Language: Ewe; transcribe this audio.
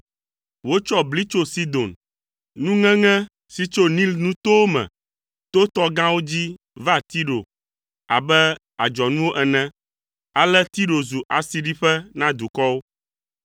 Wotsɔ bli tso Sidon, nuŋeŋe si tso Nil Nutowo me to tɔ gãwo dzi va Tiro abe adzɔnuwo ene, ale Tiro zu asiɖiƒe na dukɔwo.